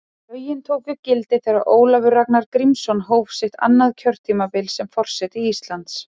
Lögin tóku gildi þegar Ólafur Ragnar Grímsson hóf sitt annað kjörtímabil sem forseti Íslands.